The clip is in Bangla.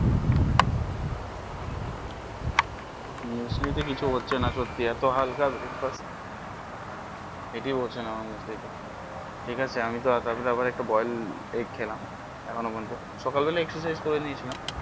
মুসলি তে কিছু হচ্ছে না সত্যি এত হালকা breakfast পেটই ভরছে না আমার মুসলি তে, ঠিক আছে আমি তো বয়েল এই খেলাম এখন ও পর্যন্ত সকাল বেলা exercise করেনিয়ে ছিলাম